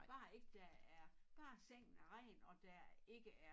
Bare ikke der er bare sengen er ren og der ikke er